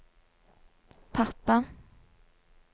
pappa